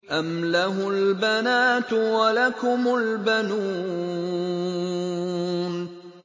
أَمْ لَهُ الْبَنَاتُ وَلَكُمُ الْبَنُونَ